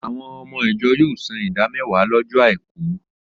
Àwọn ọmọ ìjọ yóò san ìdá mẹ́wàá lọ́jọ́ àìkú.